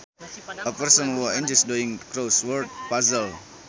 A person who enjoys doing crossword puzzles